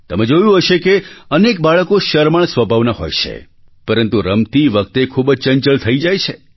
તમે જોયું હશે કે અનેક બાળકો શરમાળ સ્વભાવના હોય છે પરંતુ રમતી વખતે ખૂબ જ ચંચળ થઈ જાય છે